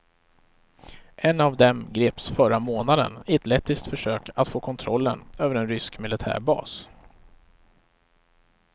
En dem av greps förra månaden i ett lettiskt försök att få kontrollen över en rysk militärbas.